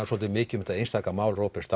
svolítið mikil um þetta einstaka mál Róberts